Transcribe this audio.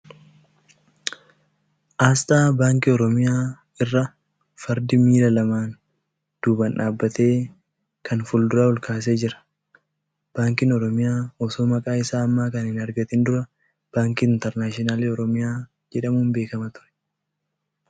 Asxaa baankii Oromiyaa irra fardi miila lamaan duuban dhaabbatee kan fuulduraa ol kaasee jira. Baankiin Oromiyaa osoo maqaa isaa ammaa kana hin argatin dura baankii Internaashinaalii Oromiyaa jedhamuun beekama ture.